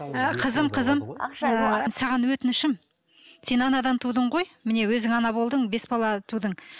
і қызым қызым ііі саған өтінішім сен анадан тудың ғой міне өзің ана болдың бес бала тудың